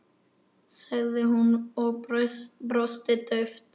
sagði hún og brosti dauft.